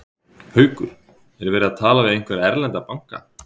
Haukur: Er verið að tala við einhverja erlenda banka?